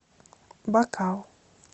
бакал